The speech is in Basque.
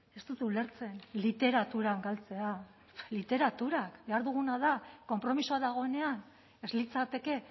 ez dut ulertzen literaturan galtzea literaturak behar duguna da konpromisoa dagoenean ez litzateke